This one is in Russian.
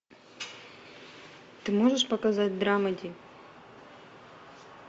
ты можешь показать драмеди